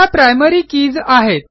त्या primary keys आहेत